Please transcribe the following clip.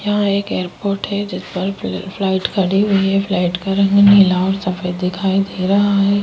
यहां एक एयरपोर्ट है जिस पर फ्लाइट खड़ी हुई है फ्लाइट का रंग नीला और सफेद दिखाई दे रहा है।